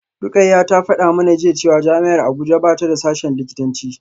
Rukayyah ta fada mana jiya cewa jami’ar Abuja ba ta da sashen likitanci